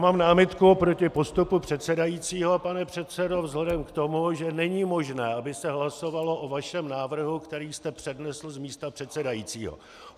Mám námitku proti postupu předsedajícího, pane předsedo, vzhledem k tomu, že není možné, aby se hlasovalo o vašem návrhu, který jste přednesl z místa předsedajícího.